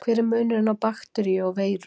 hver er munurinn á bakteríu og veiru